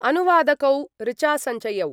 अनुवादकौ ऋचासञ्जयौ